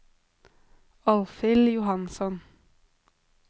Alfhild Johansson